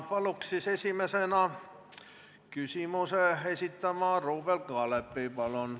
Palun esimesena küsimuse esitada Ruuben Kaalepil!